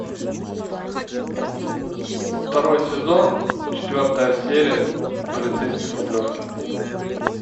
второй сезон четвертая серия полицейский с рублевки